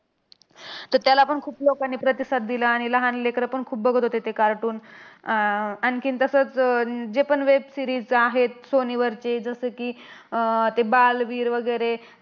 तर त्यालापण खूप लोकांनी प्रतिसाद दिला. आणि लहान लेकरं पण खूप बघत होते ते cartoon. आह आणखीन तसंच अं जे पण web series आहेत सोनीवरचे जसं की, अह ते बालवीर वगैरे,